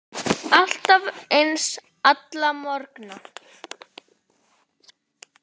Alltaf eins, alla morgna.